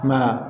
I m'a ye